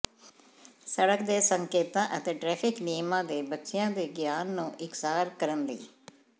ਸੜਕ ਦੇ ਸੰਕੇਤਾਂ ਅਤੇ ਟ੍ਰੈਫਿਕ ਨਿਯਮਾਂ ਦੇ ਬੱਚਿਆਂ ਦੇ ਗਿਆਨ ਨੂੰ ਇਕਸਾਰ ਕਰਨ ਲਈ